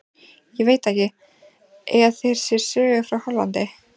Ég veit ekki, eiga þeir sér sögu frá Hollandi?